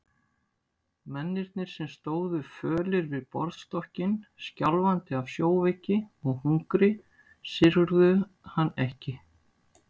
Mennirnir sem stóðu fölir við borðstokkinn, skjálfandi af sjóveiki og hungri, syrgðu hann ekki.